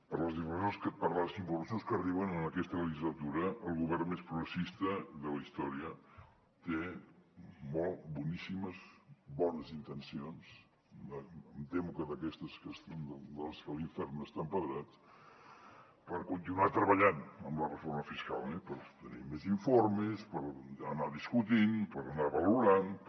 per les involucions que arriben en aquesta legislatura el govern més progressista de la història té bones intencions em temo que d’aquestes de les que l’infern està empedrat per continuar treballant amb la reforma fiscal eh per obtenir més informes per anar discutint per anar valorant per